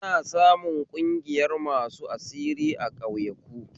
Ana samun ƙungiyar masu asiri a ƙauyaku